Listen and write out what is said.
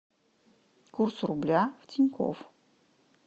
курс рубля в тинькофф